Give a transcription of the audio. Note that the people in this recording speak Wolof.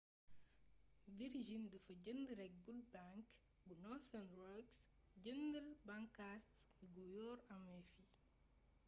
virgin dafa jënd rekk good bank bu northern rock jëndul bànkaas gu yor ameef yi